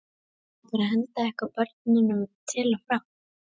Á bara að henda ykkur börnunum til og frá?